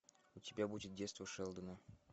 у тебя будет детство шелдона